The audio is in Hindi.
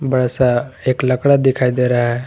बड़ा सा एक लकड़ा दिखाई दे रहा है।